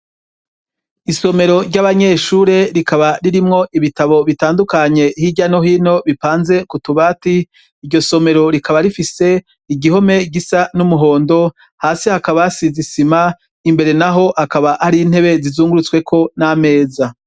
Isomero ry'abanyeshure rikaba ririmwo ibitabo bitandukanye hirya no hino bipanze ku tubati iryo somero rikaba rifise igihome gisa n'umuhondo hasi hakaba hasize isima imbere naho akaba ari intebe zizungurutsweko n'ameza.